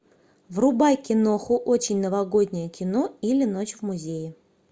врубай киноху очень новогоднее кино или ночь в музее